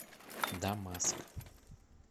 дамаск